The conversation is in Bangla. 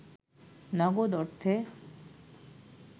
নগদ অর্থে